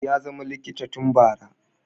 ya zama likita tun bara